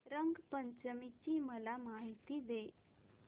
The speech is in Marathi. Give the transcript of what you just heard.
रंग पंचमी ची मला माहिती दे